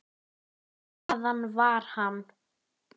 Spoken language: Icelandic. Margur hér við miklu bjóst.